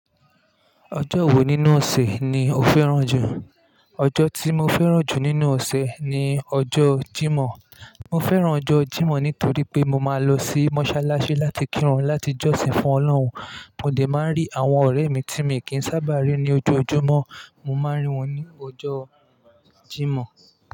Ọjọ́ wo nínú ọ̀sẹ̀ ni o fẹ́ràn jù? Ọjọ́ tí mo fẹ́ràn jù nínú ọ̀sẹ̀ ni ọjọ́ Jímọ̀. Mo fẹ́ràn ọjọ́ Jímọ̀ nítorí pé mo ma lọ sí mọ́sálásí láti kírun láti jọ́sìn fún Ọlọ́run, mo dẹ̀ ma rí àwọn ọ̀rẹ́ mi tí mi kìí sábà rí ni ojoojúmọ́, mo ma rí wọn ni ọjọ́ Jímọ̀.